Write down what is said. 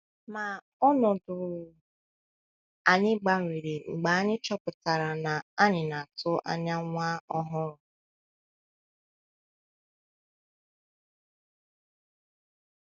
Ma ọnọdụ anyị gbanwere mgbe anyị chọpụtara na anyị na - atụ anya nwa ọhụrụ.